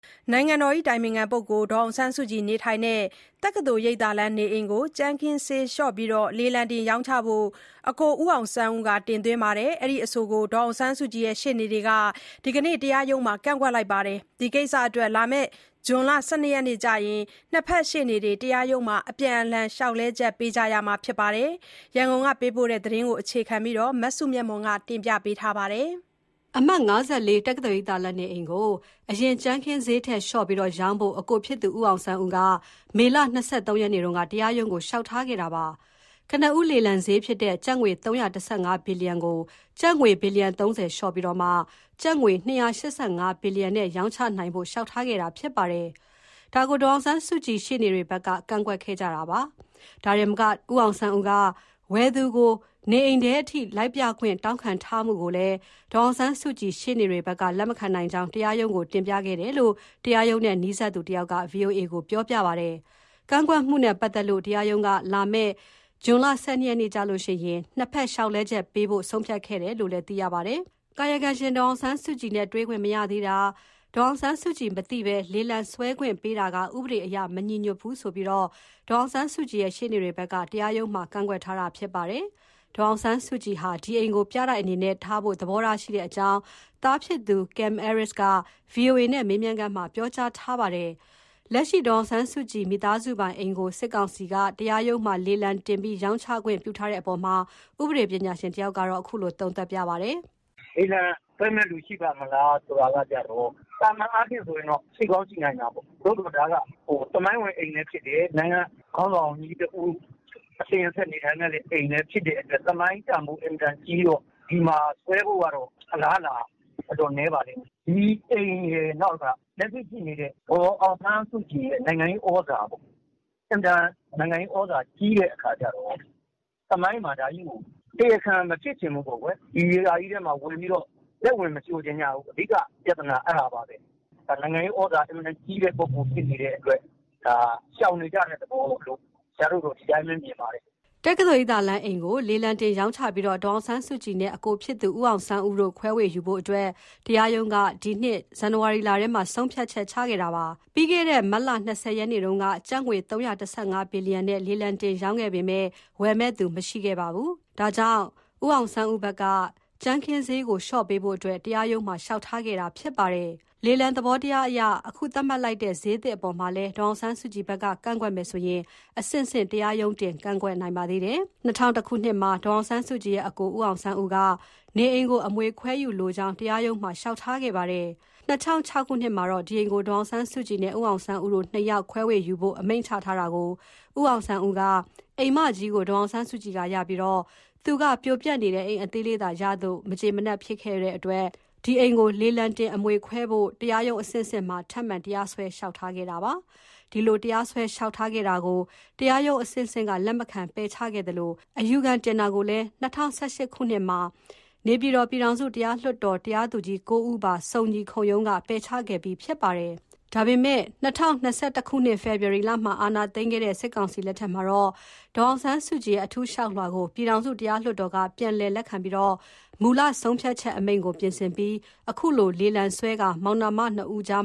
နိုင်ငံတော်အတိုင်ပင်ခံပုဂ္ဂိုလ် ဒေါ်အောင်ဆန်းစုကြည်နေထိုင်တဲ့ တက္ကသိုလ်ရိပ်သာလမ်းနေအိမ်ကို ကြမ်းခင်းဈေးလျှော့ပြီး လေလံတင်ရောင်းချဖို့ အကို ဦးအောင်ဆန်းဦး တင်သွင်းတဲ့အဆိုကို ဒေါ်အောင်ဆန်းစုကြည်ရှေ့နေတွေက ဒီကနေ့ တရား ရုံးမှာ ကန့်ကွက်လိုက်ပါတယ်။ ဒီကိစ္စအတွက် ဇွန်လ ၁၂ ရက်နေ့ကျရင် ၂ ဘက်ရှေ့နေတွေ တရားရုံးမှာ အပြန်အလှန် လျှောက်လဲချက်ပေးကြရမှာဖြစ်ပါတယ်။ ရန်ကုန်က ပေးပို့လာတဲ့သတင်းကို မစုမြတ်မွန်က ပြောပြပါမယ်။ အမှတ် ၅၄ တက္ကသိုလ်ရိပ်သာလမ်းနေအိမ်ကို အရင် ကြမ်းခင်းခင်းဈေးထက်လျှော့ပြီး ရောင်းဖို့ အကိုဖြစ်သူ ဦးအောင်ဆန်းဦးက မေလ ၂၃ ရက်နေ့က တရားရုံးကို လျှောက်ထားခဲ့တာပါ။ ကနဦး လေလံစျေးဖြစ်တဲ့ ကျပ်ငွေ ၃၁၅ ဘီလီယံကို ကျပ်ငွေ ဘီလီယံ ၃၀ လျှော့ပြီး ကျပ်ငွေ ၂၈၅ဘီလီယံ နဲ့ရောင်းချနိုင်ဖို့ လျှောက်ထားခဲ့တာဖြစ်ပါတယ်။ ဒါကို ဒေါ်အောင်ဆန်းစုကြည်ရှေ့နေတွေဘက်က ကန့်ကွက်ခဲ့တာဖြစ်ပါတယ်။ ဒါတင်မက ဦးအောင်ဆန်းဦးက ဝယ်သူကို နေအိမ်ထဲ လိုက်ပြခွင့် တောင်းခံထားမှုကိုလည်း ဒေါ်အောင်ဆန်းစုကြည်ရှေ့နေတွေဘက်က လက်မခံနိုင်ကြောင်းတရားရုံးကို တင်ပြခဲ့တယ်လို့ တရားရုံးနဲ့နီးစပ်သူတဦးက ဗွီအိုအေကို ပြောပါတယ်။ ကန့်ကွက်မှုနဲ့ပတ်သတ်လို့ တရားရုံးက လာမယ့် ဇွန် ၁၂ ရက်နေ့မှာ ၂ ဖက်လျှောက်လဲချက်ပေးဖို့ ဆုံးဖြတ်ခဲ့တယ်လို့ ပြောပါတယ်။ ကာယကံရှင် ဒေါ်အောင်ဆန်းစုကြည်နဲ့ တွေ့ခွင့်မရသေးတာ၊ ကာယကံရှင် ဒေါ်အောင်ဆန်းစုကြည်မသိဘဲ လေလံစွဲခွင့်ပေးတာက ဥပဒေအရ မညီညွှတ်ဘူးဆိုပြီး ဒေါ်အောင်ဆန်းစုကြည်ရဲ့ ရှေ့နေတွေဘက်က တရားရုံးမှာ ကန့်ကွက်ထားတာဖြစ်ပါတယ်။ ဒေါ်အောင်ဆန်းစုကြည်ဟာ ဒီအိမ်ကို ပြတိုက်အနေနဲ့ထားဖို့သဘောရှိတဲ့အကြောင်း သားဖြစ်သူ ကင်မ်အဲရစ်က ဗွီအိုအေနဲ့ မေးမြန်းခန်းမှာ ပြောကြားထားတာပါ။ လက်ရှိ ဒေါ်အောင်ဆန်းစုကြည် မိသားစုပိုင်အိမ်ကို စစ်ကောင်စီ တရားရုံးမှာ လေလံတင်ပြီးရောင်းချခွင့်ပြုထားတဲ့အပေါ်မှာ ဥပဒေပညာရှင် တဦးက အခုလို သုံးသပ်ပါတယ်။ "လေလံဆွဲမယ့်သူရှိပါ့မလားဆိုတာကျတော့ သာမန်အားဖြင့်ဆိုရင်တော့ ရှိကောင်းရှိနိုင်တာပေါ့။ ဒါကသမိုင်းဝင်အိမ်လဲဖြစ်တယ်။ နိုင်ငံ ခေါင်းဆောင်တဦး အစဉ်အဆက်နေထိုင်ခဲ့တဲ့နေရာဆိုတော့ သမိုင်းတန်ဖိုးကြီးမားပါတယ်။ ဒီလို သမိုင်းတန်ဖိုးအင်မတန်ကြီးတော့ ဝယ်မယ့်ဆွဲ မယ့်သူ အင်မတန်နည်းပါလိမ့်မယ်။ ဒီအိမ်ရယ် လက်ရှိရှိနေတဲ့ ဒေါ်အောင်ဆန်းစုကြည်ရဲ့ နိုင်ငံရေးဩဇာ ပေါ့ အင်မတန်နိုင်ငံရေးဩဇာကြီး တော့ သမိုင်းမှာတရားခံမဖြစ်ချင်ဘူး။ ဒီဟာထဲဘယ်သူမှလက်ဝင်မရှိုချင်ကြဘူး အဓိကကအဲဒါပါဘဲ။ နိုင်ငံရေးဩဇာအင်မတန်ကြီးတဲ့သူဆို တော့ ရှောင်နေကြတာပေါ့ အဲဒါပါဘဲ။" တက္ကသိုလ်ရိပ်သာလမ်းအိမ်ကို လေလံတင်ရောင်းချပြီး ဒေါ်အောင်ဆန်းစုကြည်နဲ့ အကိုဖြစ်သူ ဦးအောင်ဆန်းဦးတို့ ခွဲဝေယူဖို့ တရားရုံးက ဒီနှစ် ဇန်နဝါရီလ ထဲမှာ ဆုံးဖြတ်ခဲ့တာပါ။ ပြီးခဲ့တဲ့ မတ်လ ၂၀ရက်နေ့က ကျပ်ငွေ ၃၁၅ ဘီလီယံနဲ့ လေလံတင်ရောင်းချခဲ့ပေမယ့် ဝယ် မယ့်သူမရှိခဲ့ပါဘူး။ ဒါကြောင့် ဦးအောင်ဆန်းဦးဘက်က စျေးကိုလျှော့ပြီး ကြမ်းခင်းဈေးကို လျှော့ပေးဖို့ တရားရုံးမှာ လျှောက်ထားခဲ့တာဖြစ်ပါတယ်။ လေလံသဘောတရားအရ အခုသတ်မှတ်လိုက်တဲ့ စျေးသစ်အပေါ်မှာလည်း ဒေါ်အောင်ဆန်းစုကြည်ဘက်က ကန့်ကွက်မယ်ဆိုရင် အဆင့်ဆင့် တရားရုံးတင် ကန့်ကွက်နိုင်ပါသေးတယ်။ ၂ဝဝ၁ ခုနှစ်မှာ ဒေါ်အောင်ဆန်းစုကြည်ရဲ့အစ်ကို ဦးအောင်ဆန်းဦးက နေအိမ်ကို အမွေခွဲဝေယူလိုကြောင်း တရားရုံးမှာ လျှောက် ထားခဲ့ပါတယ် ၂၀၀၆ ခုနှစ်မှာတော့ ဒီအိမ်ကို ဒေါ်အောင်ဆန်းစုကြည်နဲ့ ဦးအောင်ဆန်းဦးတို့ ၂ ယောက်ခွဲယူဖို့ အမိန့်ချထားတာကို ဦးအောင်ဆန်းဦးက အိမ်မကြီးကို ဒေါ်အောင်ဆန်းစုကြည်ကရပြီးသူက ပြိုပျက်နေတဲ့ အိမ်အသေးကိုသာရလို့ မကျေနပ်ဖြစ်ပြီး အိမ်ကိုလေလံ တင်ခွဲ ဖို့တရားရုံးအဆင့်ဆင့်မှာ ထပ်မံတရားစွဲ လျှောက်လဲခဲ့ပါတယ်။ ဒီလို တရားစွဲ လျှောက်ထားခဲ့တာကို တရားရုံး အဆင့်ဆင့်က လက်မခံ ပယ်ချခဲ့သလို အယူခံတင်တာကိုလည်း ၂ဝ၁၈ ခုနှစ်မှာ နေပြည်တော် ပြည်ထောင်စုတရားလွှတ်တော် တရားသူကြီး ၉ ဦးပါ စုံညီခုံရုံးကလည်း ပယ်ချခဲ့ပြီးဖြစ်ပါတယ်။ ဒါပေမဲ့ ၂၀၂၁ ခုနှစ် ဖေဖေါ်ဝါရီမှာ အာဏာသိမ်းခဲ့တဲ့ စစ်ကောင်စီလက်ထက်မှာ ဦးအောင်ဆန်းဦးရဲ့ အထူးလျှောက်လွှာကို ပြည်ထောင်စု တရားလွှတ်တော်က ပြန်လည်လက်ခံပြီး မူလ ဆုံးဖြတ်ချက်အမိန့်ကို ပြင်ဆင်ပြီးနောက် အခုလို လေလံဆွဲပြီး မောင်နှမ နှစ်ဦးကြား